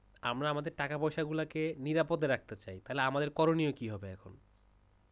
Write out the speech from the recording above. আমরা আমাদের টাকা-পয়সাগুলোকে নিরাপদ রাখতে চাই । তাহলে আমাদের করণীয় কি হবে এখন?